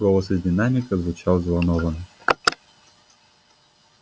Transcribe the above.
голос из динамика звучал взволнованно